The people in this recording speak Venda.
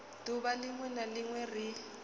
duvha linwe na linwe ri